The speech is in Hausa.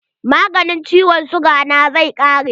Maganin ciwon siga na zai ƙare.